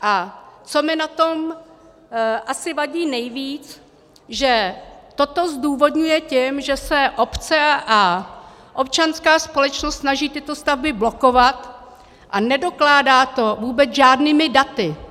A co mi na tom vadí asi nejvíc, že toto zdůvodňuje tím, že se obce a občanská společnost snaží tyto stavby blokovat, a nedokládá to vůbec žádnými daty.